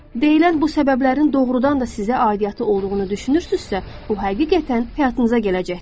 Deyilən bu səbəblərin doğrudan da sizə aidiyyatı olduğunu düşünürsünüzsə, bu həqiqətən həyatınıza gələcəkdir.